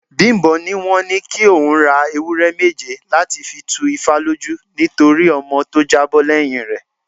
Bimbo ní wọ́n ní kí òun ra ewúré méje láti fi tú ifá lójú nítorí ọmọ tó jábọ́ lẹ́yìn rè.